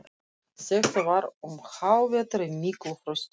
Þetta var um hávetur í miklu frosti.